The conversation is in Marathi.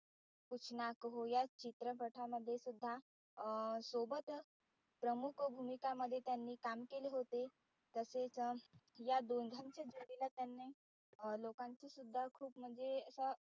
कूच ना कहो या चित्रपटामध्ये सुद्धा अं सोबत प्रमुख भूमिका मध्ये काम केले होते. तसेच या दोघांच्या जोडीला त्याने लोकांचे सुद्धा खूप म्हणजे आता